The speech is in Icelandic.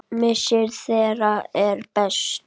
Missir þeirra er mestur.